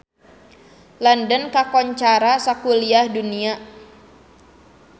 London kakoncara sakuliah dunya